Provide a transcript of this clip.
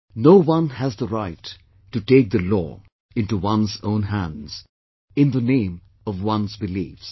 No one has the right to take the law into one's own hands in the name of one's beliefs